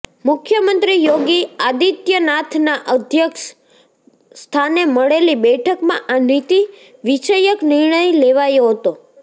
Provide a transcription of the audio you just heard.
મુખ્યમંત્રી યોગી આદિત્યનાથના અધ્યક્ષ સ્થાને મળેલી બેઠકમાં આ નીતિ વિષયક નિર્ણય લેવાયો હતો